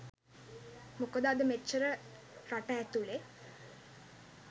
මොකද අද මෙච්චර රට ඇතුලේ